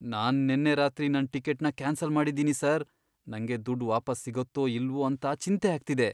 ನಾನ್ ನೆನ್ನೆ ರಾತ್ರಿ ನನ್ ಟಿಕೆಟ್ನ ಕ್ಯಾನ್ಸಲ್ ಮಾಡಿದೀನಿ ಸರ್. ನಂಗೆ ದುಡ್ಡ್ ವಾಪಸ್ ಸಿಗತ್ತೋ ಇಲ್ವೋ ಅಂತ ಚಿಂತೆ ಆಗ್ತಿದೆ.